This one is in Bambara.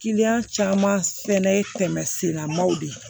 caman fɛnɛ ye tɛmɛ sennamanw de ye